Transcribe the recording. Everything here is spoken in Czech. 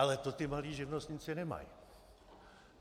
Ale to ti malí živnostníci nemají.